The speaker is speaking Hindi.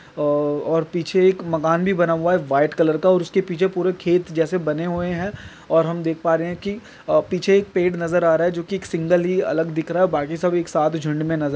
औ और पीछे एक मकान भी बना हुआ हैं व्हाइट कलर का और उसके पीछे पूरे ऐसे खेत जैसे बने हुए हैं और हम देख पा रहे हैं कि पीछे एक पेड़ नज़र आ रहा हैं जो कि एक सिंगल ही अलग दिख रहा हैं बाकी सब एक साथ झुंड मे नज़र--